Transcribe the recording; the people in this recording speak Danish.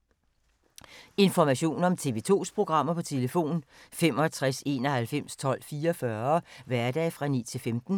Information om TV 2's programmer: 65 91 12 44, hverdage 9-15.